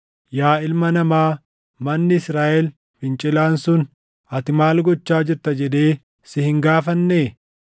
“Yaa ilma namaa, manni Israaʼel fincilaan sun, ‘Ati maal gochaa jirta?’ jedhee si hin gaafannee?